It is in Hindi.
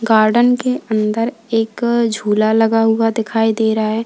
गार्डन के अंदर एक झूला लगा हुआ दिखाई दे रहा है।